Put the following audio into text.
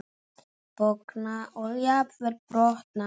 Bogna og jafnvel brotna.